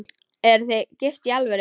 Eruð þið gift í alvöru?